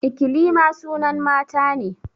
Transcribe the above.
Ikilima sunan mata ne